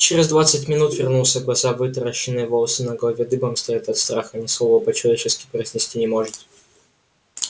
через двадцать минут вернулся глаза вытаращенные волосы на голове дыбом стоят от страха ни слова по-человечески произнести не может